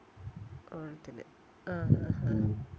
ഓണത്തിന് ആഹ് ആഹ് ആഹ്